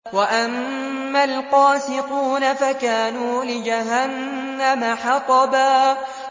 وَأَمَّا الْقَاسِطُونَ فَكَانُوا لِجَهَنَّمَ حَطَبًا